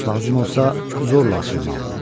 Lazım olsa, zorla açılmalıdır.